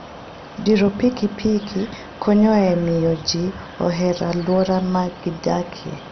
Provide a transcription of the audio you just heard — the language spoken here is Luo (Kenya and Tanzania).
Diro pikipiki konyo e miyo ji oher alwora ma gidakie.